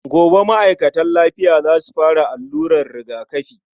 Gobe ma'aikatan lafiya za su fara allurar rigakafi.